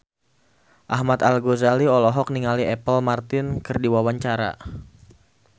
Ahmad Al-Ghazali olohok ningali Apple Martin keur diwawancara